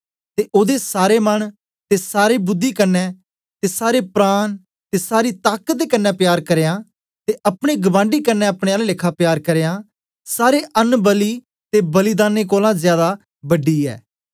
ते ओदे सारे मन ते सारी कन्ने बुद्धि ते सारे प्राण ते सारी ताकत दे कन्ने प्यार करना ते अपने गबांडी कन्ने अपने आला लेखा प्यार करना सारे अबनबली ते बलिदानें कोलां ज्यादा बड़ी ऐ